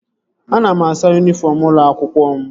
Ana m asa yunifọm ụlọ akwụkwọ m